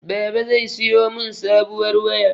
Baba zai siyo mun sabuwar waya.